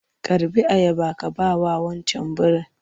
Karɓi ayaba ka bawa wancan birin!